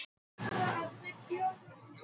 Bara til að fara í göngutúr með þau.